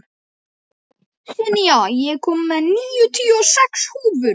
En nei, þau höfðu samt aldrei átt heima þar.